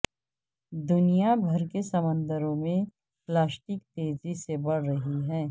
دنیا بھر کے سمندروں میں پلاسٹک تیزی سے بڑھ رہی ہے